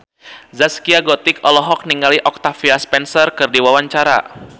Zaskia Gotik olohok ningali Octavia Spencer keur diwawancara